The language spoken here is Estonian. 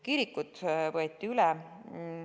Kirikud võeti üle.